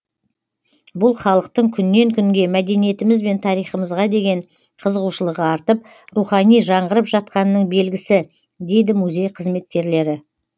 бұл халықтың күннен күнге мәдениетіміз бен тарихымызға деген қызығушылығы артып рухани жаңғырып жатқанының белгісі дейді музей қызметкерлері